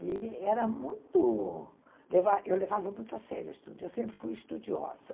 E era muito... Eu levava muito a sério o estudo, eu sempre fui estudiosa.